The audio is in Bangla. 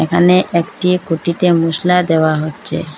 এখানে একটি খুঁটিতে মশলা দেওয়া হচ্ছে।